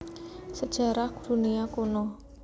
Sejarah Dunia Kuno